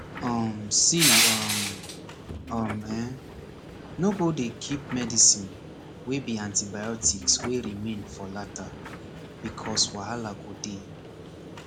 um see um um eh no go dey keep medicine wey be antibiotics wey remain for lata becoz wahala go dey